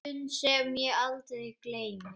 Stund sem ég aldrei gleymi.